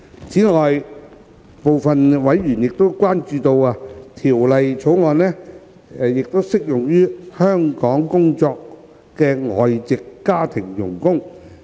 此外，部分委員關注到，《條例草案》亦適用於在港工作的外籍家庭傭工。